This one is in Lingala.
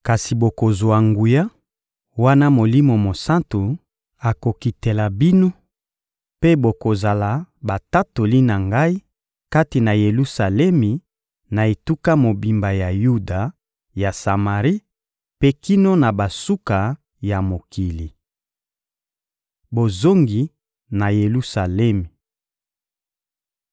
Kasi bokozwa nguya, wana Molimo Mosantu akokitela bino; mpe bokozala batatoli na Ngai kati na Yelusalemi, na etuka mobimba ya Yuda, ya Samari, mpe kino na basuka ya mokili. Bozongi na Yelusalemi